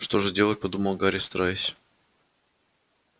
что же делать подумал гарри стараясь